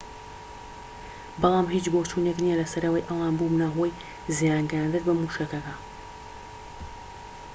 بەڵام هیچ بۆچوونێك نیە لەسەر ئەوەی ئەوان بوبنە هۆی زیان گەیاندن بە موشەکەکە